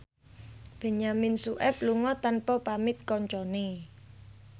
Benyamin Sueb lunga tanpa pamit kancane